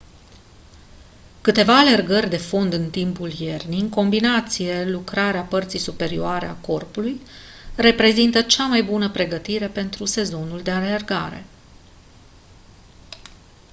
câteva alergări de fond în timpul iernii în combinație lucrarea parții superioare a corpului reprezintă cea mai bună pregătire pentru sezonul de alergare